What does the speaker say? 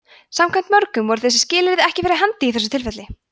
samkvæmt mörgum voru þessi skilyrði ekki fyrir hendi í þessu tilfelli